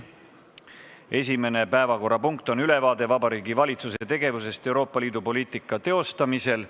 Esimene päevakorrapunkt on ülevaade Vabariigi Valitsuse tegevusest Euroopa Liidu poliitika teostamisel.